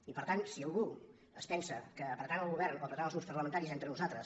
i per tant si algú es pensa que apretant el govern o apretant els grups parlamentaris entre nosaltres